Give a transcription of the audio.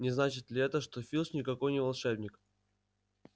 не значит ли это что филч никакой не волшебник